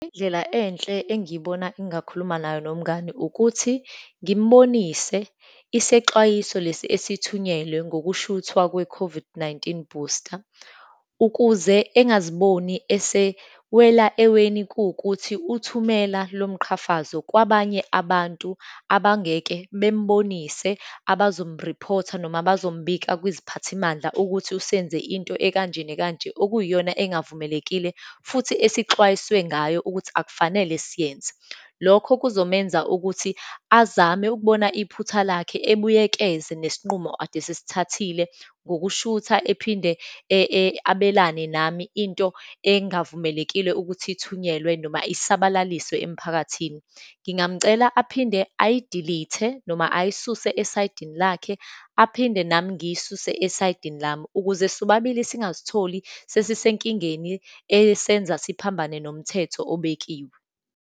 Indlela enhle engiyibona engakhuluma nayo nomngani, ukuthi ngimbonise isexwayiso lesi esithunyelwe ngokushuthwa kwe-COVID-19 booster, ukuze engaziboni esewela eweni, kuwukuthi uthumela lomqhafazo kwabanye abantu, abangeke bembonise, abazomriphotha noma bazombika kwiziphathimandla ukuthi usenze into ekanjena kanje, okuyiyona engavumelekile, futhi esixhwayiswe ngayo ukuthi akufanele siyenza. Lokho kuzomenza ukuthi azame ukubona iphutha lakhe, ebuyekeze nesinqumo ade sesithathile ngokushutha ephinde abelane nami into engavumelekile ukuthi ithunyelwe, noma isabalaliswe emphakathini. Ngingamcela aphinde ayidilithe, noma ayisuse esayidini lakhe, aphinde nami ngiyisuse esaydini lami, ukuze sobabili singazitholi sesisenkingeni esenza siphambane nomthetho obekiwe.